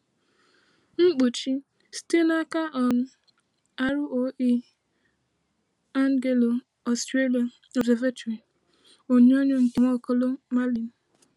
Nkpuchi: Site n’aka um ROE/Anglo-Australian Observatory, onyonyo nke Nwaokolo Malin.